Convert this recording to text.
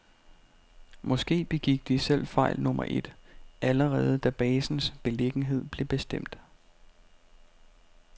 Måske begik de selv fejl nummer et, allerede da basens beliggenhed blev bestemt.